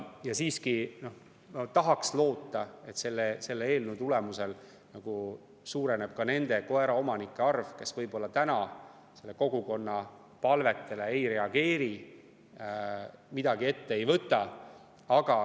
Ja ma tahaks loota, et selle eelnõu tulemusel nende koeraomanike arv, kes praegu kogukonna palvetele ei reageeri, midagi ette ei võta.